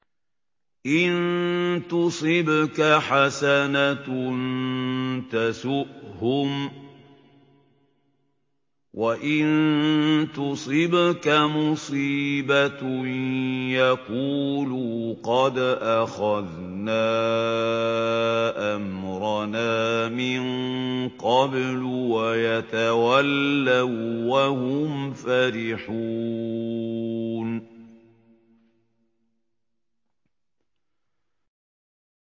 إِن تُصِبْكَ حَسَنَةٌ تَسُؤْهُمْ ۖ وَإِن تُصِبْكَ مُصِيبَةٌ يَقُولُوا قَدْ أَخَذْنَا أَمْرَنَا مِن قَبْلُ وَيَتَوَلَّوا وَّهُمْ فَرِحُونَ